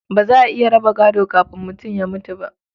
Ba za a iya raba gado kafin mutum ya mutu ba.